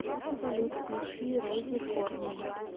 салют включи рози корни